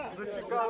Gözlədildi.